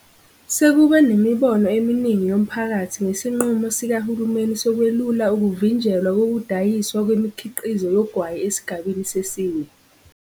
Sekube nemibono eminingi yomphakathi ngesinqumo sikahulumeni sokwelula ukuvinjelwa kokudayiswa kwemikhiqizo yogwayi esigabeni sesine.